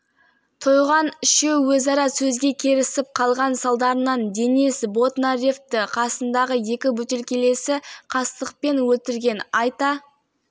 мүлдем кездеспейтін қауіпті зиянкестерді тапқан зертханалық тексеру жүзім мен анардан дрозофила және шығыс ақ ұнтақ